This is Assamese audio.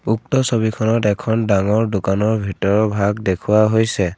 উক্ত ছবিখনত এখন ডাঙৰ দোকানৰ ভিতৰৰ ভাগ দেখুওৱা হৈছে।